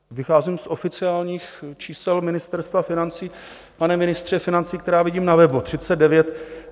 Vycházím z oficiálních čísel Ministerstva financí, pane ministře financí, která vidím na webu.